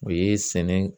O ye sɛnɛ